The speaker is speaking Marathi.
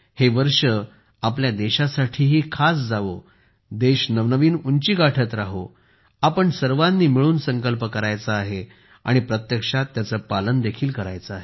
हे वर्षही देशासाठी खास जावो देश नवनवीन उंची गाठत राहो आपण सर्वांनी मिळून संकल्प करायचा आहे आणि प्रत्यक्षात त्याचे पालन देखील करायचे आहे